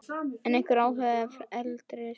Er einhver áhugi erlendis frá?